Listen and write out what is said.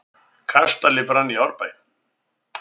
Kastali brann í Árbæ